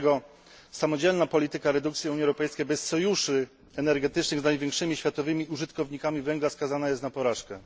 Wobec tego samodzielna polityka redukcji Unii Europejskiej bez sojuszy energetycznych z największymi światowymi użytkownikami węgla skazana jest na porażkę.